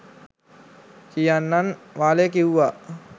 කියන්නන් වාලේ කිව්වා.